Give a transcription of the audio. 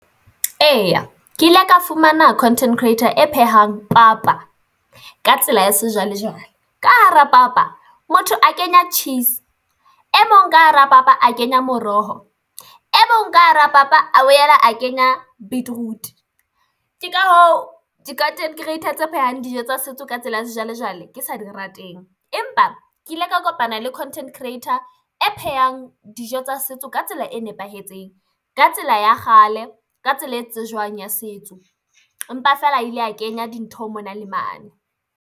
Eya, ke ile ka fumana content creator e phehang papa ka tsela ya sejwalejwale ka hara papa motho a kenya cheese e mong ka hara papa a kenya moroho e mong ka hara papa, a boela a kenya beetroot. Ke ka hoo di content creator tse phehang dijo tsa setso ka tsela ya sejwalejwale ke sa di rateng, empa ke ile ka kopana le content creator e phehang dijo tsa setso ka tsela e nepahetseng ka tsela ya kgale ka tsela e tsejwang ya setso. Empa feela a ile a kenya dintho mona le mane.